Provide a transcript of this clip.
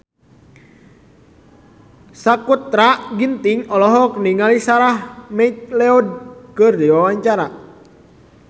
Sakutra Ginting olohok ningali Sarah McLeod keur diwawancara